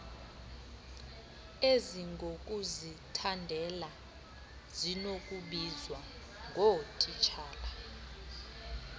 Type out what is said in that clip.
ezingokuzithandela zinokubizwa ngootitshala